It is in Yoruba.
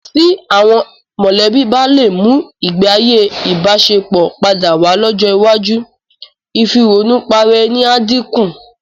Tí àwọn mọ̀lẹ́bí bá lè mú ìgbéayé ìbáṣepọ̀ padà wá lọ́jọ́ iwájú, ìfìrònùparaẹni á dínkù.